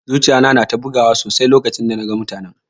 Zuciya na na ta bugu sosai lokacin da na gan mutanen.